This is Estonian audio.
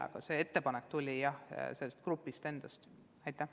Aga see ettepanek tuli sellelt grupilt endalt.